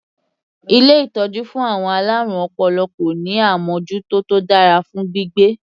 Ilé ìtọ́jú fún àwọn alárùn ọpọlọ kò ní àmọ́jútó tó dára fún gbígbé.